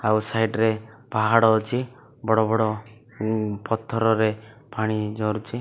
ଆଉ ସାଇଡ ରେ ପାହାଡ ଅଛି ବଡ-ବଡ ଉଁ ପଥରରେ ପାଣି ଝରୁଛି।